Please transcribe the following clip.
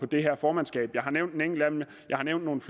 det her formandsskab jeg har nævnt